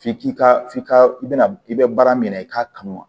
F'i k'i ka f'i ka i bɛ na i bɛ baara min na i k'a kanu wa